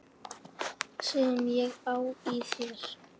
Sem ég á í þér.